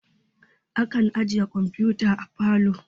Akan ajiye kamfuta a parlor